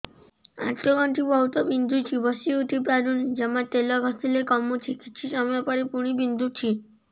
ଆଣ୍ଠୁଗଣ୍ଠି ବହୁତ ବିନ୍ଧୁଛି ବସିଉଠି ପାରୁନି ଜମା ତେଲ ଘଷିଲେ କମୁଛି କିଛି ସମୟ ପରେ ପୁଣି ବିନ୍ଧୁଛି